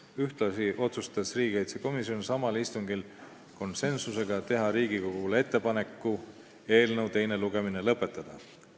Ühtlasi otsustas riigikaitsekomisjon samal istungil konsensuslikult, et Riigikogule tehakse ettepanek eelnõu teine lugemine lõpetada.